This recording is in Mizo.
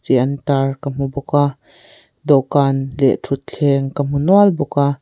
an tar ka hmu bawk a dawhkan leh thuthleng ka hmu nual bawk a.